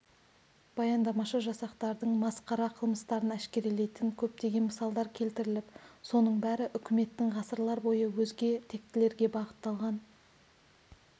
баяндамашы жасақтардың масқара қылмыстарын әшкерелейтін көптеген мысалдар келтіріп соның бәрі үкіметтің ғасырлар бойы өзге тектілерге бағытталған